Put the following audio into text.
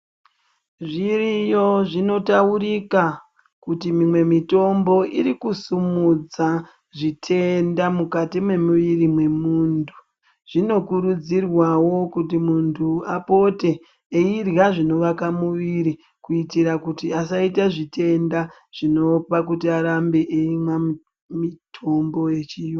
Zviriyo zvinotaurika kuti mimwe mitombo iri kusumudza zvitenda mukati mwemuiri wemunthu, zvinokurudzirwa kuti munthu apote eirya zvinoaka muiri ,kuitira kuti asaita zvitenda zvinopa kuti arambe eimwa mitombo yechiyungu.